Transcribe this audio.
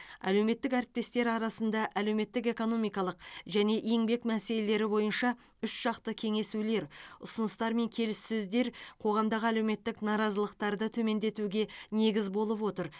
әлеуметтік әріптестер арасында әлеуметтік экономикалық және еңбек мәселелері бойынша үшжақты кеңесулер ұсыныстар мен келіссөздер қоғамдағы әлеуметтік наразылықтарды төмендетуге негіз болып отыр